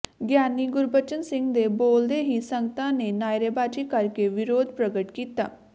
ਗਿਆਨੀ ਗੁਰਬਚਨ ਸਿੰਘ ਦੇ ਬੋਲਦੇ ਹੀ ਸੰਗਤਾਂ ਨੇ ਨਾਅਰੇਬਾਜ਼ੀ ਕਰ ਕੇ ਵਿਰੋਧ ਪ੍ਰਗਟ ਕੀਤਾ